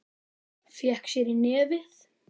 Fékk sér í nefið.